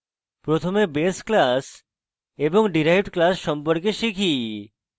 প্রথমে base class এবং derived class সম্পর্কে শিখি